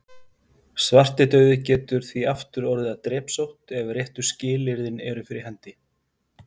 Svartidauði getur því aftur orðið að drepsótt ef réttu skilyrðin eru fyrir hendi.